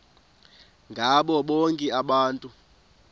ngabo bonke abantu